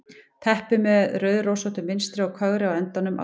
Teppi með rauðrósóttu munstri og kögri á endunum á gljáfægðum gólfdúknum.